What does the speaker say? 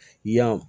Yan